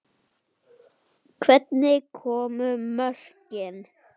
Hvernig komu mörkin?